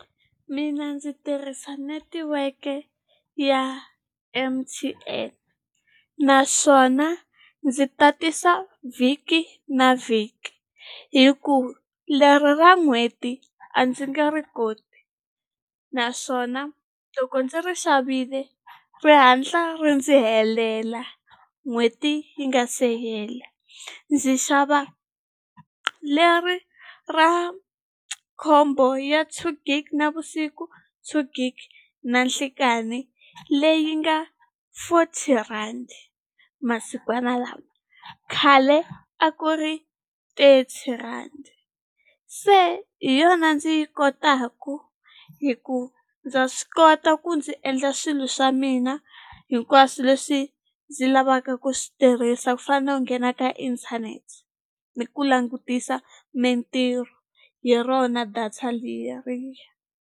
Mina ndzi tirhisa netiweke ya M_T_N naswona ndzi tatisa vhiki na vhiki hi ku leri ra n'hweti a ndzi nge ri koti naswona loko ndzi ri xavile ri hatla ri ndzi helela n'hweti yi nga se hela ndzi xava leri ra combo ya two gig navusiku two gig na nhlikani leyi nga fourty rand masikwana lawa khale a ku ri thirty rhandi se hi yona ndzi yi kotaku hi ku ndza swi kota ku ndzi endla swilo swa mina hinkwaswo leswi ndzi lavaka ku swi tirhisa ku fana na ku nghena ka inthanete ni ku langutisa mintirho hi rona data leriya.